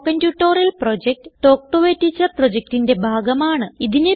spoken tutorial project talk to a teacher പ്രൊജക്റ്റിന്റെ ഭാഗമാണ്